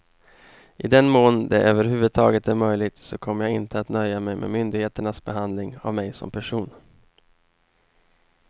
I den mån det över huvud taget är möjligt så kommer jag inte att nöja mig med myndigheternas behandling av mig som person.